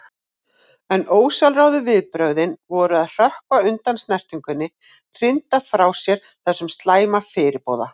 En ósjálfráðu viðbrögðin voru að hrökkva undan snertingunni, hrinda frá sér þessum slæma fyrirboða.